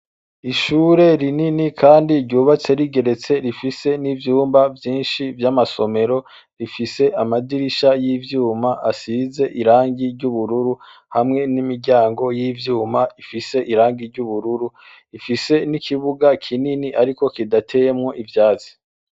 Ishure rinini kandi ryubatse rigeretse, rifise n'ivyumba vyinshi vy'amasomero bifise amadirisha y'ivyuma asize irangi ry'ubururu, hamwe n'imiryango y'ivyuma ifise irangi ry'ubururu. Rifise n'ikibuga kinini ariko kidateyemwo ivyatsi.